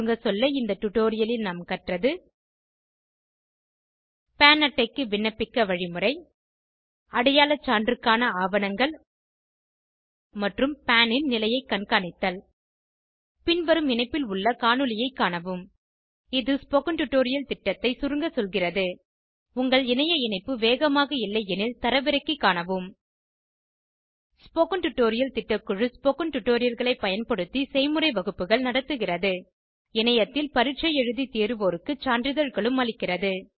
சுருங்க சொல்ல இந்த டுடோரியலில் நாம் கற்றது பான் அட்டைக்கு விண்ணப்பிக்க வழிமுறை அடையாள சான்றுக்கான ஆவணங்கள் மற்றும் பான் ன் நிலையை கண்காணித்தல் பின்வரும் இணைப்பில் உள்ள காணொளியைக் காணவும் இது ஸ்போகன் டுடோரியல் திட்டத்தை சுருங்க சொல்கிறது உங்கள் இணைய இணைப்பு வேகமாக இல்லையெனில் தரவிறக்கி காணவும் ஸ்போகன் டுடோரியல் திட்டக்குழு ஸ்போகன் டுடோரியல்களை பயன்படுத்தி செய்முறை வகுப்புகள் நடத்துகிறது இணையத்தில் பரீட்சை எழுதி தேர்வோருக்கு சான்றிதழ்களும் அளிக்கிறது